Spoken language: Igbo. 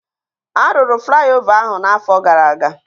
Arụrụ flaiova ahụ na afọ gara aga